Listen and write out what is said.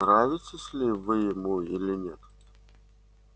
нравитесь ли вы ему или нет